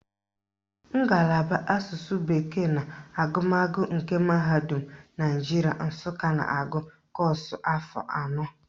Ngalaba Asụsụ bekee na agụmagụ nke Mahadum Naijiria Nsụka na-agụ kọ́ọ̀sụ̀ afọ anọ